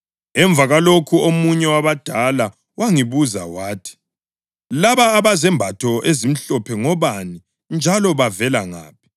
Emva kwalokho omunye wabadala wangibuza wathi, “Laba abezembatho ezimhlophe ngobani, njalo bavele ngaphi?”